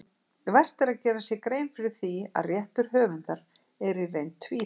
Vert er að gera sér grein fyrir því að réttur höfundar er í reynd tvíþættur.